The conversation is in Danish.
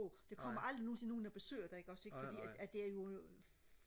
Der kommer aldrig nogensinde nogen og besøger dig ikke også ikke fordi det er jo